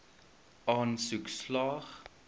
aansoek slaag